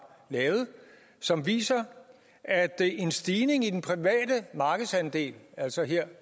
lavet som viser at en stigning i den private markedsandel altså her